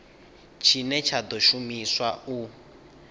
tshine tsha ḓo shumiswa u